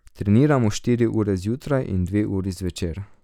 Treniramo štiri ure zjutraj in dve uri zvečer.